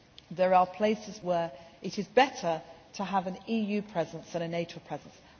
week. There are places where it is better to have an EU presence than a NATO presence.